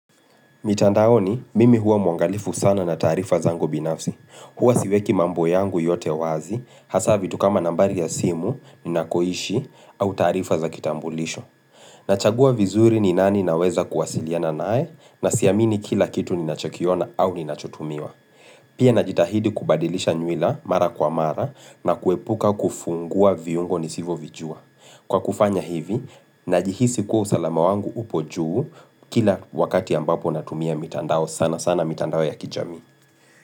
Mitandaoni, mimi huwa mwangalifu sana na taarifa zangu binafsi. Huwa siweki mambo yangu yote wazi, hasa vitu kama nambari ya simu, ninakoishi, au taarifa za kitambulisho. Nachagua vizuri ni nani naweza kuwasiliana nae, na siamini kila kitu ninachokiona au ninachotumiwa. Pia najitahidi kubadilisha nywila mara kwa mara na kuepuka kufungua viungo nisivovijua. Kwa kufanya hivi, najihisi kuwa usalama wangu upo juu kila wakati ambapo natumia mitandao, sanasana mitandao ya kijamii.